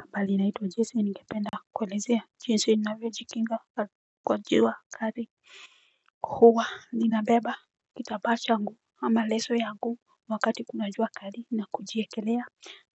Habali naitwa jese ningependa kuelezea jinsi ninavyo jikinga kwa jua kari hua ninabeba kitabaa shangu ama leso yangu wakati kuna jua kari na kujiekelea